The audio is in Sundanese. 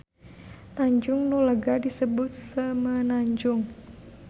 Tanjung nu lega disebut semenanjung.